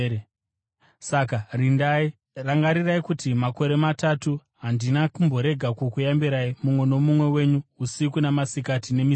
Saka rindai! Rangarirai kuti makore matatu handina kumborega kukuyambirai mumwe nomumwe wenyu, usiku namasikati nemisodzi.